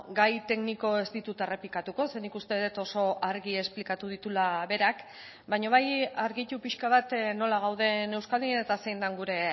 gai tekniko ez ditut errepikatuko ze nik uste dut oso argi esplikatu dituela berak baina bai argitu pixka bat nola gauden euskadin eta zein den gure